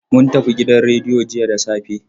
Mun tafi gidan rediyo jiya da safe.